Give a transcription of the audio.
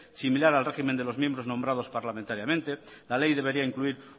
similar al régimen de los miembros nombrados parlamentariamente la ley debería incluir